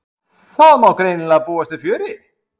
Heimir Már: Það má greinilega búast við fjöri?